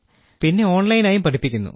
പിന്നെ ഓൺലൈനായും പഠിപ്പിക്കുന്നു